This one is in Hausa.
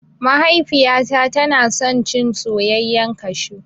Mahaifiyata tana son cin soyayyan kashu